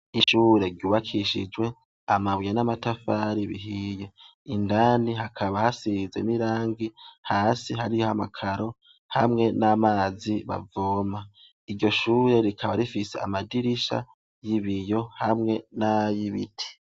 Ishure ryubakishijwe amabuye n'amatafari bihiye indani hakaba hasizemwo irangi hasi hariho amakaro hamwe n'amazi bavoma iryo shure rikaba rifise amadirisha y'ibiyo hamwe n'ay'ibiti.